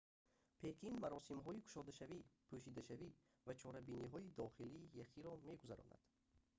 пекин маросимҳои кушодашавӣ пӯшидашавӣ ва чорабиниҳои дохилии яхиро мегузаронад